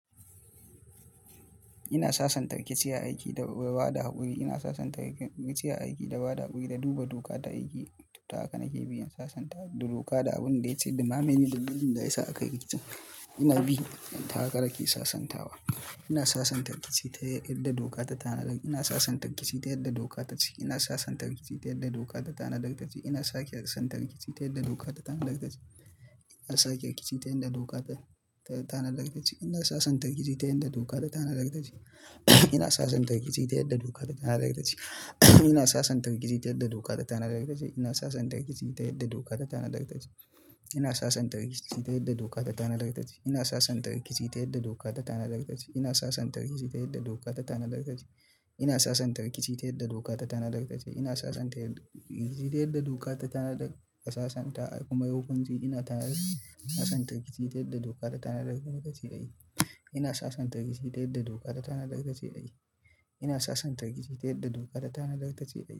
Ina sasanta rikici aiki da ba da haƙuri. Ina sasanta rikici aiki da ba da haƙuri, duba doka ta aikin tuata akan cibiyar sasanta da doka abin da ya ce ɗummahen yin duk abinda yasa aka yi rikicin. Ina bi taka- haka nake sasantawa. Ina sasantar rikici ta yardar doka ta tanadar. Ina sasantar rikici ta yarda doka ta ci. Ina sasantar rikici ta yarda doka ta tanadartanci. Ina sakar san tarki ta yarda doka ta tanadartaci. Ina sake rikici ta yarda doka ta tanadakacci. Ina sasantar rikici ta yarda doka ta tanadarkace. Ina sasantarikici ta yarda doka ta tanadaktce. Ina sasantar rikici ta yarda doka ta tanadartatce. Ina sasantar rikici tayadda doka ta tanadaratce. Ina sasantar rikici tayadda doka ta tanadatrce. Ina sasantar rikici tayadda doka ta tanadarakce. Ina sasantan rikici tayadda doka ta tanadaraice. Ina santan rikici tayadda doka ta tanadaratacciye. Ina sasantar rikici tayadda doka ta tanadarakace aayi. Ina sasantar rikici tayyadda doka ta tanadarakatace aayi.